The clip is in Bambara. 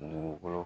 Dugukolo